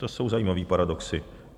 To jsou zajímavé paradoxy.